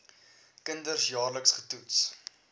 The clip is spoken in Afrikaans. kinders jaarliks getoets